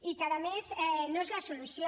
i que a més no és la solució